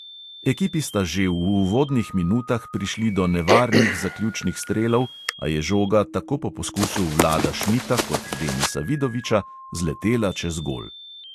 Ekipi sta že v uvodnih minutah prišli do nevarnih zaključnih strelov, a je žoga tako po poskusu vlada šmita kot denisa vidoviča zletela čez gol.